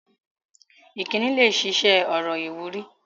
Ìkíni lẹ ṣiṣẹ́ ọ̀rọ̀ ìwúrí